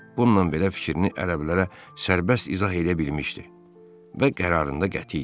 Bununla belə fikrini ərəblərə sərbəst izah eləyə bilmişdi və qərarında qəti idi.